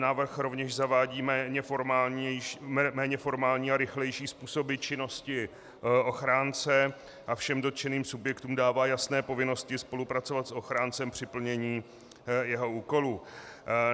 Návrh rovněž zavádí méně formální a rychlejší způsoby činnosti ochránce a všem dotčeným subjektům dává jasné povinnosti spolupracovat s ochráncem při plnění jeho úkolů.